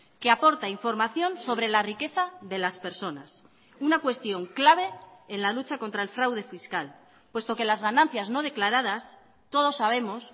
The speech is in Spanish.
que aporta información sobre la riqueza de las personas una cuestión clave en la lucha contra el fraude fiscal puesto que las ganancias no declaradas todos sabemos